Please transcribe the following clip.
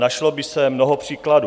Našlo by se mnoho příkladů.